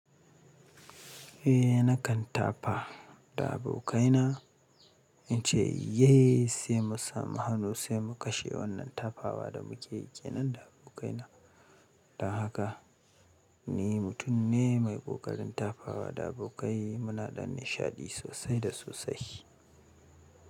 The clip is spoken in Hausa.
Eh nakan tafa da abokaina, ince “Yay” sai mu samu hannu sai mu kashe wannan tafawa da mukeyi kenan da abokaina. Don haka ni mutum ne mai ƙoƙarin tafawa da abokai, muna ɗan nishaɗi sosai da sosai.